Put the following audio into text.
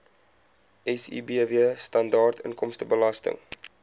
sibw standaard inkomstebelasting